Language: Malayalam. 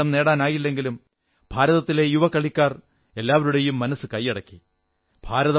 ഭാരതത്തിന് കിരീടം നേടാനായില്ലെങ്കിലും ഭാരതത്തിലെ യുവ കളിക്കാർ എല്ലാവരുടെയും മനസ്സു കൈയടക്കി